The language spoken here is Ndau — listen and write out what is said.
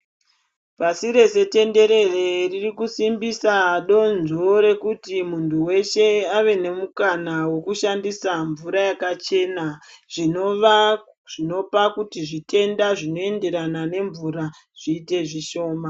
Pasi rese tenderere ririkusimbisa donzvo rekuti muntu weshe ave nemukana wekushandisa mvura yakachena ,zvinova zvinopa kuti zvitenda zvinoenderana nemvura zviyite zvishoma.